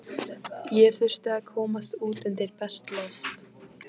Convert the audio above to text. Ég þurfti að komast út undir bert loft.